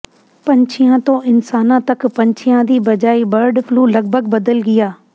ਪੰਛੀਆਂ ਤੋਂ ਇਨਸਾਨਾਂ ਤਕ ਪੰਛੀਆਂ ਦੀ ਬਜਾਇ ਬਰਡ ਫਲੂ ਲਗਭਗ ਬਦਲ ਗਿਆ